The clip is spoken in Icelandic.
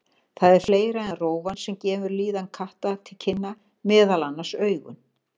Það er fleira en rófan sem gefur líðan katta til kynna, meðal annars augun.